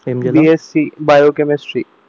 BSC biochemistry